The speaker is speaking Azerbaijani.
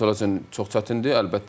Bizim futbolçular üçün çox çətindir.